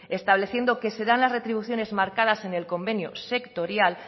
estableciendo que serán las retribuciones marcadas en el convenio sectorial